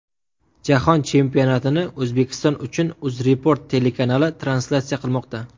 Jahon chempionatini O‘zbekiston uchun UzReport telekanali translyatsiya qilmoqda.